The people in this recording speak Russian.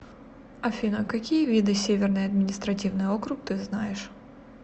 афина какие виды северный административный округ ты знаешь